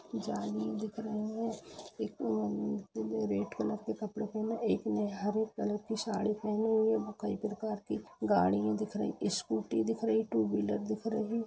जाली दिख रही हैं एक ने रेड कलर का कपड़ा पहना है एक ने हरे कलर की साड़ी पहनी हुई है व कई प्रकार की गाडियां दिख रही स्कूटी दिख रही टू व्हीलर दिख रही ।